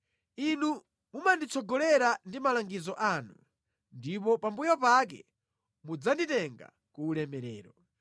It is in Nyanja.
Inu mumanditsogolera ndi malangizo anu ndipo pambuyo pake mudzanditenga ku ulemerero.